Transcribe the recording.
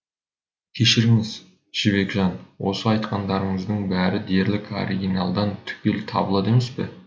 кешіріңіз жібекжан осы айтқандарыңыздың бәрі дерлік оригиналдан түгел табылады емес пе